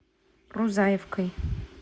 рузаевкой